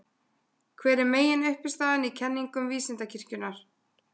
Hver er meginuppistaðan í kenningum Vísindakirkjunnar?